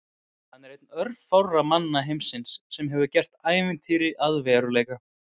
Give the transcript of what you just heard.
Hann er einn örfárra manna heimsins sem hefur gert ævintýr að veruleika.